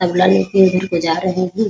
तबला लेके इधर को जा रहे हैं ।